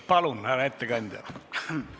Palun, härra ettekandja!